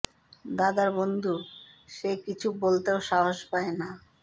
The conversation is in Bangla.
দাদার বন্ধু সে কিছু বলতেও সাহস পায় না